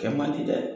Kɛ man di dɛ